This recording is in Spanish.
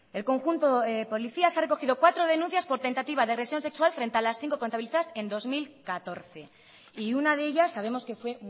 el conjunto de policías ha recogido cuatro denuncias por tentativa de agresión sexual frente a las cinco contabilizadas en dos mil catorce y una de ella sabemos que fue